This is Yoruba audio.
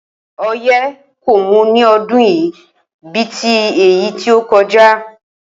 O̩yé̩ kò mú ní o̩dún yìí bí i ti èyí tí ó ko̩já